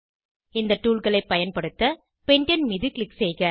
இந்த toolகளை பயன்படுத்த பெண்டேன் மீது க்ளிக் செய்க